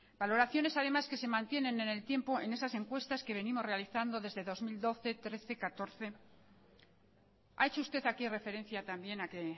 valoraciones además que se mantienen en el tiempo en esas encuestas que venimos realizando desde dos mil doce dos mil trece y dos mil catorce ha hecho usted aquí referencia también a que